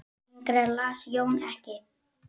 Lengra las Jón ekki.